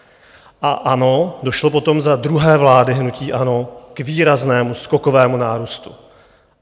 A ano, došlo potom za druhé vlády hnutí ANO k výraznému skokovému nárůstu.